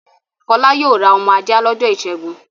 Fọlá yóò ra ọmọ ajá lọ́jọ́ ìṣẹ́gun.